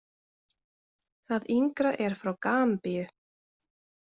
Það yngra er frá Gambíu.